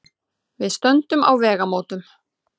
Við stöndum á vegamótum.